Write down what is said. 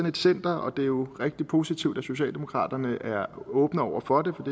et center og det er jo rigtig positivt at socialdemokraterne er åbne over for det for